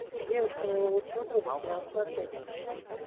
девушка моего лучшего друга сериал смотреть